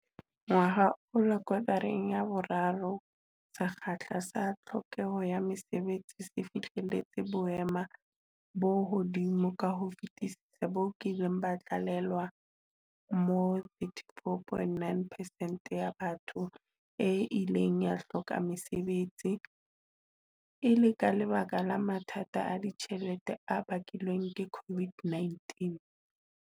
Ngwahola kotareng ya boraro, sekgahla sa tlhokeho ya mesebetsi se fihleletse boemo bo hodimo ka ho fetisisa bo kileng ba tlalewa, moo 34.9 percent ya batho e ileng ya hloka mesebetsi, e le ka lebaka la mathata a ditjhelete a bakilweng ke COVID-19.